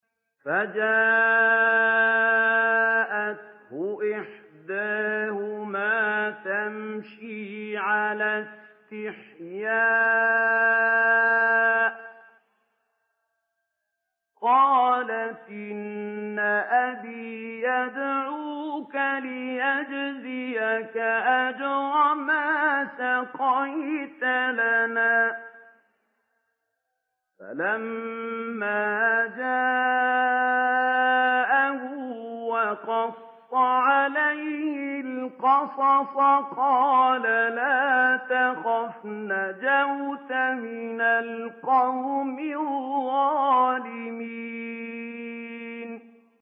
فَجَاءَتْهُ إِحْدَاهُمَا تَمْشِي عَلَى اسْتِحْيَاءٍ قَالَتْ إِنَّ أَبِي يَدْعُوكَ لِيَجْزِيَكَ أَجْرَ مَا سَقَيْتَ لَنَا ۚ فَلَمَّا جَاءَهُ وَقَصَّ عَلَيْهِ الْقَصَصَ قَالَ لَا تَخَفْ ۖ نَجَوْتَ مِنَ الْقَوْمِ الظَّالِمِينَ